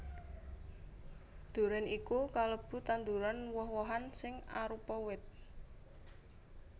Durén iku kalebu tanduran woh wohan sing arupa wit